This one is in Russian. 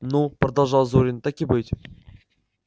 ну продолжал зурин так и быть